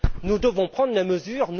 Nous devons prendre des mesures.